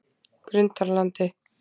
Grundarlandi